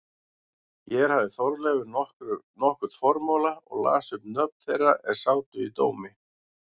Hér hafði Þorleifur nokkurn formála og las upp nöfn þeirra er sátu í dómi.